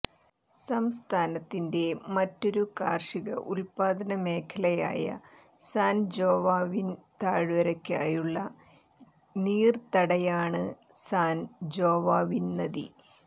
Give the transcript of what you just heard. സംസ്ഥാനത്തിന്റെ മറ്റൊരു കാർഷിക ഉൽപാദന മേഖലയായ സാൻ ജോവാവിൻ താഴ്വരയ്ക്കായുള്ള നീർത്തടയാണ് സാൻ ജോവാവിൻ നദി